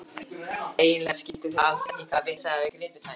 Eiginlega skildu þær alls ekki hvaða vitleysa hafði gripið þær.